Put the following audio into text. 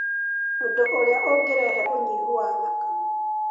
ũndũ ũrĩa ũngĩrehe ũnyihu wa thakame,